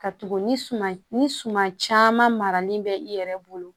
Ka tugu ni suma ye ni suman caman maralen bɛ i yɛrɛ bolo